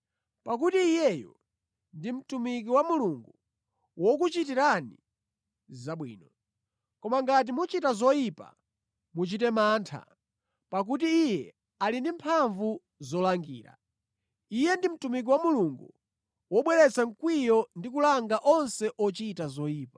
Pakuti iyeyo ndi mtumiki wa Mulungu wokuchitirani zabwino. Koma ngati muchita zoyipa muchite mantha, pakuti iye ali ndi mphamvu zolangira. Iye ndi mtumiki wa Mulungu wobweretsa mkwiyo ndi kulanga onse ochita zoyipa.